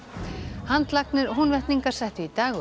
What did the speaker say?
handlagnir Húnvetningar settu í dag upp